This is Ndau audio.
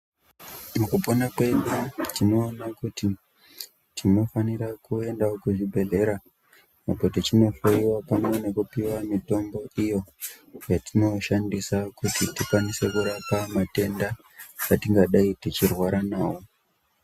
Mukupona kwedu tinoona kuti tinofanira kuendawo kuzvibhedhlera uko tichinoohloyiwa pamwe nekupiwa mitombo iyo yetinoshandisa kuti tikwanise kurapa matenda atingadai tichirwara nawo.